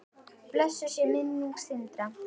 Blessuð sé minning Sindra.